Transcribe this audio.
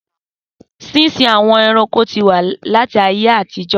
Sísin àwọn ẹranko ti wà láti ayé àtijọ́.